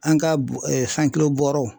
An ka bɔ ee sankilo bɔɔrɔw